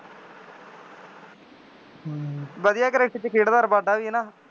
ਵਧੀਆ ਕ੍ਰਿਕਟ ਚ ਖੇਡ ਦਾ ਵੀ ਹੈ ਨਾ